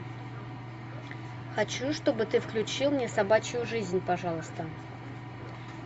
хочу чтобы ты включил мне собачью жизнь пожалуйста